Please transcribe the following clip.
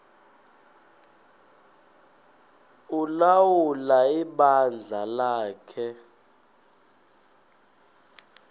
ulawula ibandla lakhe